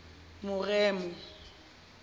moremo